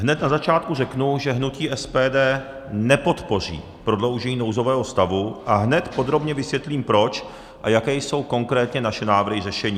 Hned na začátku řeknu, že hnutí SPD nepodpoří prodloužení nouzového stavu, a hned podrobně vysvětlím proč a jaké jsou konkrétně naše návrhy řešení.